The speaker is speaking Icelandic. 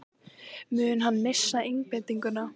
Mun hann missa einbeitinguna?